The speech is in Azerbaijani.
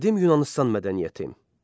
Qədim Yunanıstan mədəniyyəti.